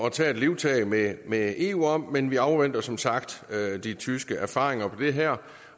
at tage livtag med med eu om men vi afventer som sagt de tyske erfaringer med det her